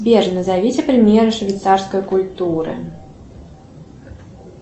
сбер назовите примеры швейцарской культуры